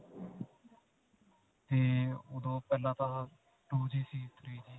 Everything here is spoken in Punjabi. ਤੇ ਓਦੋਂ ਪਹਿਲਾਂ ਤਾਂ two G ਸੀ, three G.